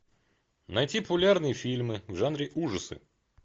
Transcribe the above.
найти популярные фильмы в жанре ужасы